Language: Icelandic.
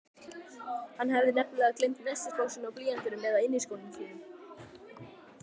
Hann hafi nefnilega gleymt nestisboxinu, blýantinum eða inniskónum sínum.